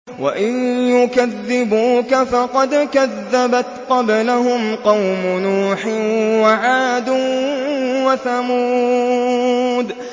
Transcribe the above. وَإِن يُكَذِّبُوكَ فَقَدْ كَذَّبَتْ قَبْلَهُمْ قَوْمُ نُوحٍ وَعَادٌ وَثَمُودُ